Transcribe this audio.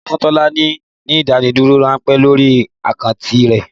Wọn ti fún Tọ́lá ní ìdádúró ránpẹ́ lórí àkáǹtì rẹ̀